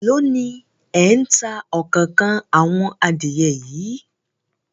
Èló ni ẹ̀ ń ta òkòókan àwọn adìẹ yìí?